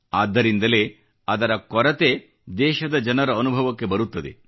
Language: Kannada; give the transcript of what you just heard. ಆದ್ದರಿಂದಲೇ ಅದರ ಕೊರತೆ ದೇಶದ ಜನರ ಅನುಭವಕ್ಕೆ ಬರುತ್ತದೆ